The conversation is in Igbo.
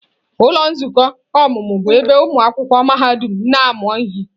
Ụlọ nzukọ ọmụmụ bụ ebe ụmụ akwụkwọ mahadum na-amụ ihe.